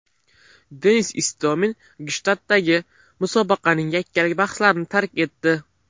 Denis Istomin Gshtaddagi musobaqaning yakkalik bahslarini tark etdi.